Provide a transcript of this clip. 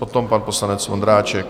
Potom pan poslanec Vondráček.